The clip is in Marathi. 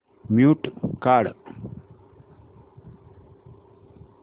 म्यूट काढ